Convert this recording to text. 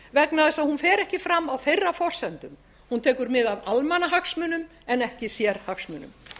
vegna þess að hún fer ekki fram á þeirra forsendum hún tekur mið af almannahagsmunum en ekki sérhagsmunum